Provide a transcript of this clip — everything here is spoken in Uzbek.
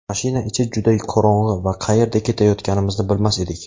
Mashina ichi juda qorong‘i va qayerga ketayotganimizni bilmas edik.